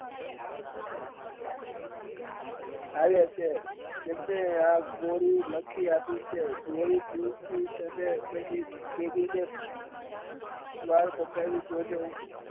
આવ્યા છે તેમને આ ગોળી લખી આપી છે તેમની દીકરી ને મટાવી દેજો